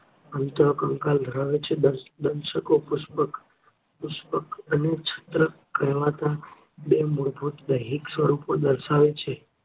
અંતરૂંધાલ ધરાવે છે. દેશકો પુષ્પક અને છત્રકકહેવાતા બે મૂળભૂત વૈદિક સ્વરૂપો દર્શાવે છે.